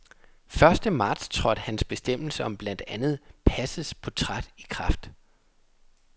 Første marts trådte hans bestemmelse om blandt andet passets portræt i kraft.